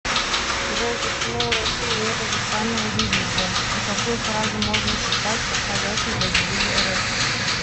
джой почему у россии нет официального девиза и какую фразу можно считать подходящим для девиза рф